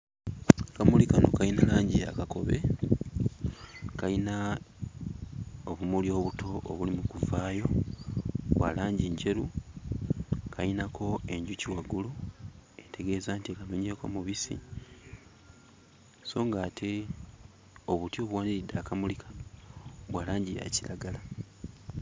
Akamuli kano kayina langi ya kakobe, kayina obumuli obuto obuli mu kuvaayo; bwa langi njeru, kayinako enjuki waggulu etegeeza nti enonyeeko mubisi so ng'ate obuti obuwaniridde akamuli kano bwa langi ya kiragala.